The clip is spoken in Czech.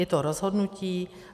Je to rozhodnutí.